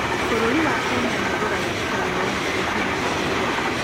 Bũrũri wa Kenya nĩ ũgũraga itũngũrũ nyingĩ kuuma bũrũri wa